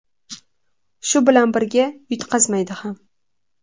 Shu bilan birga, yutqazmaydi ham.